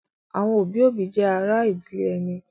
Àwọn òbí-òbí jẹ́ ará ìdílé ẹni.